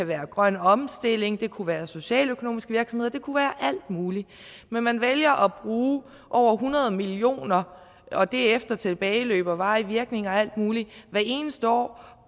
være grøn omstilling det kunne være socialøkonomisk virksomhed det kunne være alt muligt men man vælger at bruge over hundrede million kroner og det er efter tilbageløb og varig virkning og alt muligt hvert eneste år